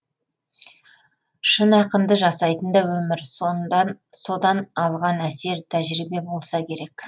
шын ақынды жасайтын да өмір содан алған әсер тәжірибе болса керек